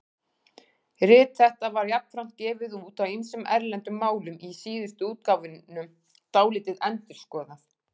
Rit þetta var jafnframt gefið út á ýmsum erlendum málum, í síðustu útgáfunum dálítið endurskoðað.